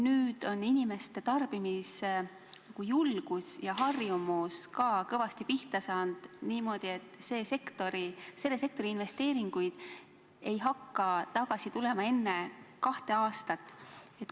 Nüüd on aga inimeste tarbimisjulgus ja -harjumus kõvasti pihta saanud, nii et selle sektori investeeringud ei hakka end ära tasuma enne kahte aastat.